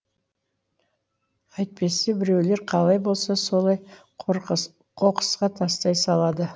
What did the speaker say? әйтпесе біреулер қалай болса солай қоқысқа тастай салады